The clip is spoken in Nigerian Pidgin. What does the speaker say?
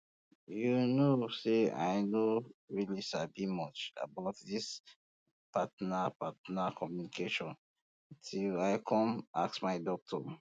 you um know um say i no really sabi much about this partner partner communication till i come ask my doctor